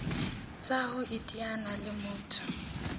tsa ho iteanya le motho